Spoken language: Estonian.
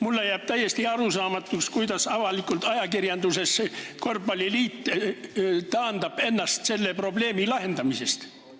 Mulle jääb täiesti arusaamatuks, miks korvpalliliit ajakirjanduses avalikult taandab ennast selle probleemi lahendamisest.